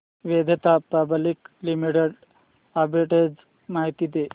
Vedanta public limited arbitrage माहिती दे